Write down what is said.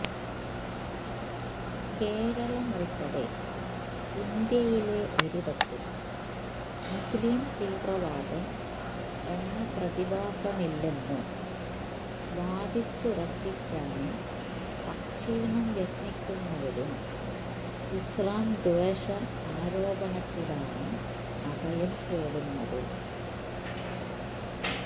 കേരളമുള്പ്പെടെ ഇന്ത്യയില് ഒരിടത്തും മുസ്ലിം തീവ്രവാദം എന്ന പ്രതിഭാസമില്ലെന്നു വാദിച്ചുറപ്പിക്കാന് അക്ഷീണം യത്നിക്കുന്നവരും ഇസ്ലാംദ്വേഷ ആരോപണത്തിലാണ് അഭയം തേടുന്നത്